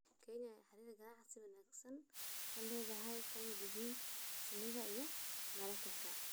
Kenya ayaa xiriir ganacsi oo wanaagsan la leh dalal ay ka mid yihiin Shiinaha iyo Mareykanka.